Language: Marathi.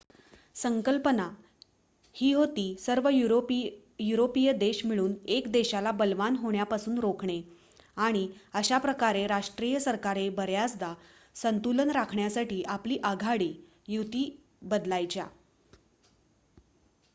संकल्पना ही होती सर्व युरोपीय देश मिळून 1 देशाला बलवान होण्यापासून रोखणे आणि अशा प्रकारे राष्ट्रीय सरकारे बऱ्याचदा संतुलन राखण्यासाठी आपली आघाडी / युती बदलायच्या